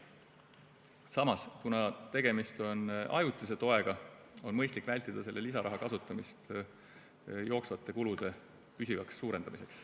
Samas, kuna tegemist on ajutise toega, on mõistlik vältida selle lisaraha kasutamist jooksvate kulude püsivaks suurendamiseks.